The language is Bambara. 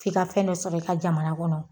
F'i ka fɛn dɔ sɔrɔ i ka jamana kɔnɔ